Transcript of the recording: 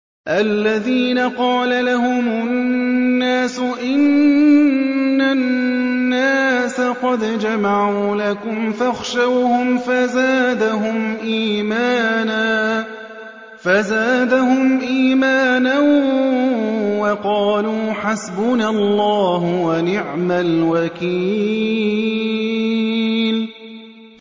الَّذِينَ قَالَ لَهُمُ النَّاسُ إِنَّ النَّاسَ قَدْ جَمَعُوا لَكُمْ فَاخْشَوْهُمْ فَزَادَهُمْ إِيمَانًا وَقَالُوا حَسْبُنَا اللَّهُ وَنِعْمَ الْوَكِيلُ